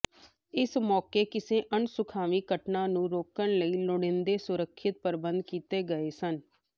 ਇਸ ਮੌਕੇ ਕਿਸੇ ਅਣਸੁਖਾਵੀਂ ਘਟਨਾ ਨੂੰ ਰੋਕਣ ਲਈ ਲੋੜੀਂਦੇ ਸੁਰੱਖਿਆ ਪ੍ਰਬੰਧ ਕੀਤੇ ਗਏ ਸਨ